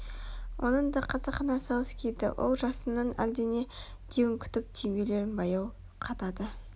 оны да қасақана асығыс киді ол жасынның әлдене деуін күтіп түймелерін баяу қадады